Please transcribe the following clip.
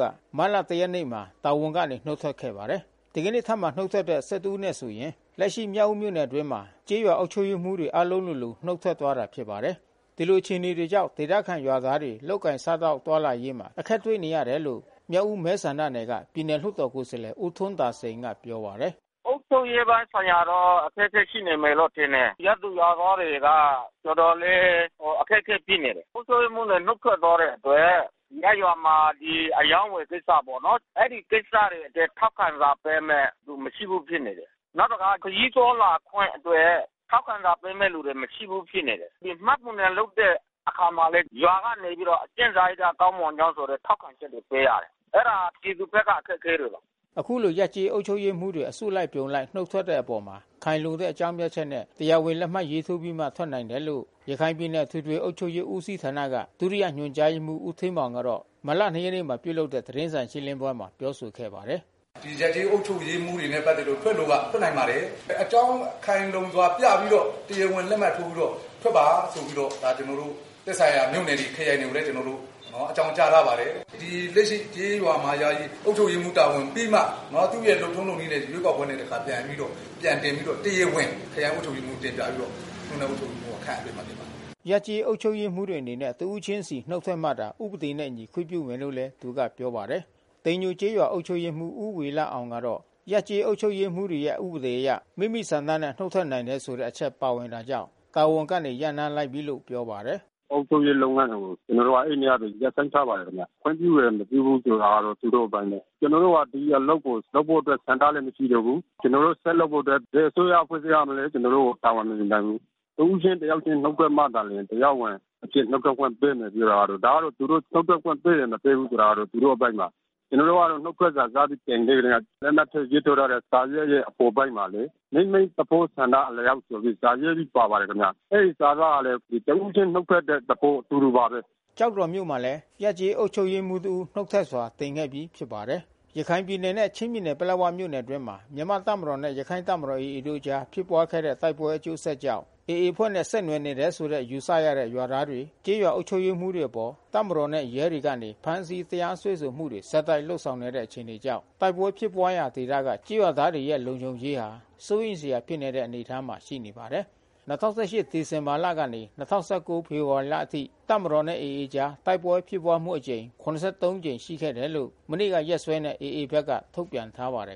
က မတ်လ ရက်နေ့မှာ တာဝန်ကနေ နုတ် ထွက်ခဲ့ပါတယ်။ ဒီကနေ့ ထပ်မံနုတ်ထွက်တဲ့ ဦး နဲ့ဆိုရင် လက်ရှိမြောက်ဦး မြို့နယ်အတွင်းမှာ ကျေးရွာအုပ်ချုပ် ရေးမှူး တွေအားလုံး လိုလို နုတ်ထွက်သွားတာဖြစ်ပါတယ်။ ဒီလိုအခြေအနေတွေကြောင့် ဒေသ ခံကျေးရွာသားတွေ လုပ်ကိုင်စား သောက်သွားလာရေးမှာ အခက်တွေ့နေရတယ်လို့ မြောက်ဦးမဲဆန္ဒနယ်က ပြည်နယ် လွှတ်တော်ကိုယ်စားလှယ် ဦးထွန်း သာစိန်ကပြောပါတယ်။ “အုပ်ချုပ်ရေးပိုင်းဆိုင်ရာတော့ အခက်ခဲရှိနေမယ်လို့ ထင်တယ်။ ရပ်သူရွာသားတွေက တော်တော်လေး အခက်ခဲဖြစ် နေတယ်။ အုပ်ချုပ်ရေးမှူးတွေ နုတ်ထွက်သွားတဲ့အတွက် ရပ်ရွာမှာ အရောင်းဝယ်ကိစ္စပေါ့နော်။ အဲဒီကိစ္စတွေအတွက် ထောက်ခံစာ ပေးမယ့်သူ မရှိဘူးဖြစ်နေတယ်။ နောက်တခါ ခရီးသွားလာခွင့် အတွက် ထောက်ခံစာ ပေးမဲ့သူမရှိဘူးဖြစ်နေ တယ်။ မှတ်ပုံတင်လုပ်တဲ့ အခါမှာ လဲ ရွာကနေပြီးတော့အကျင့်စာရိတ္တကောင်းမွန်ကြောင်းဆိုပြီးတော့ ထောက်ခံချက် တွေပေးရတယ်။ အဲတာပြည်သူဘက်က အခက်ခဲတွေပါ။” အခုလို ရပ်ကျေးအုပ်ချုပ်ရေးမှူးတေ ွအစုအပြုံလိုက် နုတ်ထွက်တဲ့ အပေါ်မှာ ခိုင်လုံတဲ့အကြောင်းပြချက်နဲ့ တရား ဝင်လက် မှတ်ထိုးပြီးမှ ထွက်နိုင် တယ်လို့ ရခိုင်ပြည်နယ်အထွေထွေအုပ်ချုပ်ရေး ဦးစီးဌာနမှ ဒုတိယညွှန်ကြားရေးမှူး ဦးဌေးမောင်ကတော့ မတ်လ ၂ ရက်နေ့ကပြုလုပ်တဲ့ သတင်းစာရှင်းလင်းပွဲ မှာ ပြောဆိုခဲ့ပါတယ်။ “ဒီရပ်ကျေးအုပ်ချုပ်ရေးမှူးတွေနဲ့ပက်သက်လို့ ထွက်လိုက ထွက်နိုင်ပါတယ်။ အကြောင်းခိုင်လုံစွာပြပြီးတော့ တရားဝင်လက်မှတ် ထိုးပြီးတော့ထွက်ပါ ဆိုပြီးတော့ ဒါကျွန်တော်တို့ သက်ဆိုင်ရာမြို့နယ်တွေ ခရိုင်တွေ ကိုလဲ ကျွန်တော်တို့ အကြောင်းကြားထား ပါတယ်။ ဒီလက်ရှိကျေးရွာ မှာယာယီအုပ်ချုပ်ရေးမှူး တာဝန်ပြီးမှ သူ့ရဲ့လုပ်ထုံးလုပ်နည်းနဲ့ ရွေး ကောက် ပွဲနဲ့ တခါပြန်ပြီးတော့ ပြန်တင်ပြီးတော့ တရားဝင် ခရိုင်အုပ်ချုပ်ရေးမှူး ကိုတင်ပြပြီးတော့ မြို့နယ်အုပ်ချုပ်ရေးမှူးက ခန့်အပ်ပေးမှာဖြစ်ပါတယ်။” ရပ်ကျေးအုပ်ချုပ်ရေးမှူးတွေအနေနဲ့တစ်ဦးချင်းစီ နုတ်ထွက်မှသာ ဥပဒေနှင့်အညီ ခွင့်ပြုမယ်လို့လဲ သူကပြောပါတယ်။ တိမ်ညိုကျေးရွာအုပ်ချုပ်ရေးမှူး ဦးဝေလအောင်ကတော့ ရပ်ကျေးအုပ်ချုပ်ရေးမှူးတွေရဲ့ ဥပဒေအရ မိမိဆန္ဒနဲ့နုတ် ထွက်နိုင် တယ်ဆိုတဲ့ အချက်ပါဝင်တာကြောင့် တာဝန်ကနေ ရပ်နားလိုက်ပြီလို့ ပြောပါတယ်။ “အုပ်ချုပ်ရေးလုပ်ငန်းတွေကို ကျွန်တော်တို့အဲဒီနေ့ကဘဲ ရပ်ဆိုင်းထားပါတယ်ခင်ဗျ။ ခွင့်ပြုတယ်မပြုဘူးဆိုတာ သူတို့ အပိုင်း ဘဲ။ ကျွန်တော်တို့က ဒီအလုပ်ကို လုပ်ဖို့အတွက် ဆန္ဒလဲမရှိတော့ဘူး။ ကျွန်တော်တို့ ဆက်လုပ်ဖို့ အတွက် ဘယ်အစိုးရ အဖွဲ့ အစည်းကမှ ကျွန်တော်တို့ကို တာဝန်မယူနိုင်ဘူး။ တဦးချင်းတယောက်ချင်း နုတ်ထွက်မှာသာလျှင် တရားဝင်အဖြစ် နုတ်ထွက် ခွင့်ပေးမယ်ပြောတာ ကတော့ ဒါကတော့ သူတို့နုတ်ထွက်ခွင့်ပေးမယ် မပေးဘူးဆိုတာ သူတို့ အပိုင်းပါ။ ကျွန်တော်တို့က နုတ် ထွက်စာစပြီးတင်စကတည်းက လက်မှတ်ရေးထိုးထားတဲ့စာရွက်ရဲ့ အပေါ်ပိုင်းမှာလဲဘဲ မိမိသဘောဆန္ဒအလျှောက်ဆိုပြီး စာရေး ပြီး ပါပါတယ်ခင်ဗျ။ အဲဒီစာသားဟာဘဲ တဦးချင်းနုတ်ထွက်တဲ့ သဘောဆိုလို ပါတယ်။” ကျောက်တော်မြို့မှာလဲ ရပ်ကျေးအုပ်ချုပ်ရေးမှူး တဦးနုတ်ထွက်စာ တင်ခဲ့ပြီးဖြစ်ပါတယ်။ ရခိုင်ပြည်နယ်နဲ့ချင်းပြည်နယ်ပလက်ဝမြို့နယ်အတွင်းမှာ မြန်မာ့ တပ်မတော်နဲ့ရခိုင့်တပ်မတော် AAတို့ အကြားဖြစ်ပွား ခဲ့ တဲ့ တိုက်ပွဲ အကျိုးဆက်ကြောင့် AA အဖွဲ့နဲ့ဆက်နွယ်နေတယ်လို့ယူဆရတဲ့ ရွာသားတွေ ကျေးရွာအုပ်ချုပ်ရေးမှူး တွေအပေါ် တပ်မတော်နဲ့ရဲတွေကနေ ဖမ်းဆီး တရားစွဲဆိုမှုတွေ ဆက်တိုက်လုပ်ဆောင်နေတဲ့အခြေအနေကြောင့် တိုက်ပွဲဖြစ်ပွားနေတဲ့ဒေသက ကျေးရွာသားတွေရဲ့လုံခြုံရေးဟာ စိုးရိမ်စရာဖြစ်နေတဲ့အနေအထားမှာရှိနေတာပါ။ ၂၀၁၈ ဒီဇင်ဘာလကနေ ၂၀၁၉ ဖေဖေါ်ဝါရီလအထိ တပ်မတော်နဲ့AAတို့အကြား တိုက်ပွဲဖြစ်ပွားမှု အကြိမ် ကြိမ် ရှိခဲ့တယ် လို့ မနေ့ကရက်စွဲနဲ့AA ဘက်က ထုတ်ပြန်ထားပါတယ်